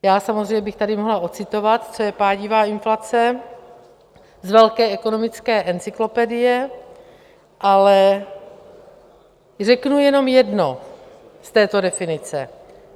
Já samozřejmě bych tady mohla ocitovat, co je pádivá inflace, z Velké ekonomické encyklopedie, ale řeknu jenom jedno z této definice.